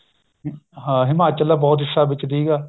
ਹਾਂ ਹਿਮਾਚਲ ਦਾ ਬਹੁਤ ਹਿੱਸਾ ਵਿੱਚ ਸੀਗਾ